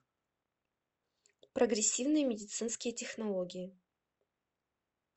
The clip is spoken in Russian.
прогрессивные медицинские технологии